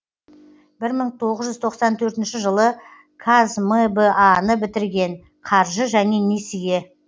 бір мың тоғыз жүз тоқсан төртінші жылы қазмба ны бітірген қаржы және несие